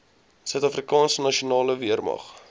suidafrikaanse nasionale weermag